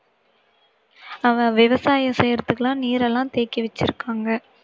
அஹ் விவசாயம் செய்யறதுக்கெல்லாம் நீரெல்லாம் தேக்கி வச்சிருக்காங்க